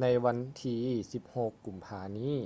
ໃນວັນທີ 16 ກຸມພານີ້